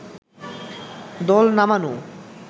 দল নামানো